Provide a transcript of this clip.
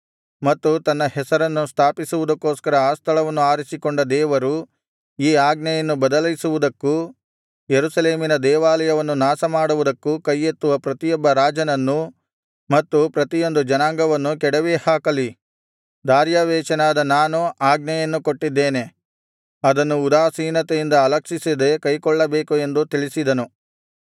ಮತ್ತು ತನ್ನ ಹೆಸರನ್ನು ಸ್ಥಾಪಿಸುವುದಕ್ಕೋಸ್ಕರ ಆ ಸ್ಥಳವನ್ನು ಆರಿಸಿಕೊಂಡ ದೇವರು ಈ ಆಜ್ಞೆಯನ್ನು ಬದಲಿಸುವುದಕ್ಕೂ ಯೆರೂಸಲೇಮಿನ ದೇವಾಲಯವನ್ನು ನಾಶಮಾಡುವುದಕ್ಕೂ ಕೈಯೆತ್ತುವ ಪ್ರತಿಯೊಬ್ಬ ರಾಜನನ್ನೂ ಮತ್ತು ಪ್ರತಿಯೊಂದು ಜನಾಂಗವನ್ನೂ ಕೆಡವಿ ಹಾಕಲಿ ದಾರ್ಯಾವೆಷನಾದ ನಾನು ಆಜ್ಞೆಯನ್ನು ಕೊಟ್ಟಿದ್ದೇನೆ ಅದನ್ನು ಉದಾಸೀನತೆಯಿಂದ ಅಲಕ್ಷಿಸದೆ ಕೈಕೊಳ್ಳಬೇಕು ಎಂದು ತಿಳಿಸಿದನು